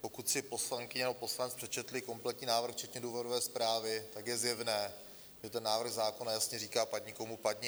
Pokud si poslankyně nebo poslanec přečetli kompletní návrh včetně důvodové zprávy, tak je zjevné, že ten návrh zákona jasně říká: Padni komu padni.